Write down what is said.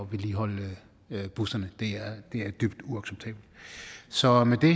vedligeholde busserne det er dybt uacceptabelt så med det